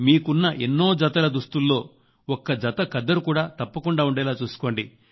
మీకున్న ఎన్నో జత దుస్తుల్లో ఒక జత ఖద్దరు కూడా తప్పకుండా ఉండేలా చూసుకోండి